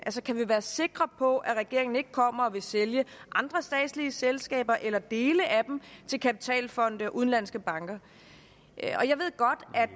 kan vi være sikre på at regeringen ikke kommer og vil sælge andre statslige selskaber eller dele af dem til kapitalfonde og udenlandske banker